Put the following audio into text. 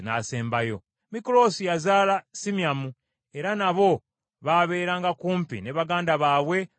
Mikuloosi yazaala Simyamu, era nabo baabeeranga kumpi ne baganda baabwe mu Yerusaalemi.